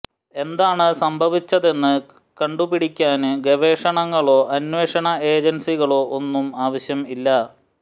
എന്താണ് സംഭവിച്ചതെന്ന് ക ണ്ടുപിടിക്കാന് ഗവേഷണങ്ങ ളോ അന്വേഷണ ഏജന്സിക ളോ ഒന്നും ആവശ്യമില്ല